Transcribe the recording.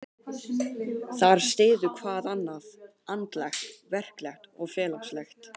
Þar styður hvað annað, andlegt, verklegt og félagslegt.